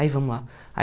Aí vamos lá.